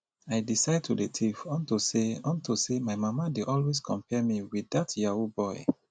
i decide to dey thief unto say unto say my mama dey always compare me with dat yahoo boy